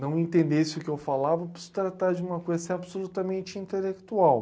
não entendesse o que eu falava por se tratar de uma coisa assim absolutamente intelectual.